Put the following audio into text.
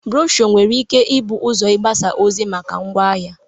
Brosho nwere ike ibụ ụzọ ịgbssa ozi maka ngwa ahịa.